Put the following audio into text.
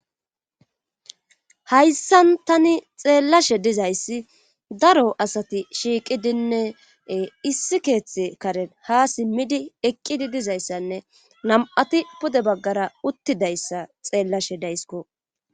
Hayssan tani xeellashe dizayssi daro asati shiiqidinne issi keeththe karen ha simmidi eqqidi dizayssanne nam7ati pude baggara uttidayssa xeellashe daysiko.